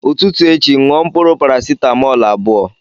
Ụtụtụ echi ṅụọ mkpụrụ parasetamọl abụọ!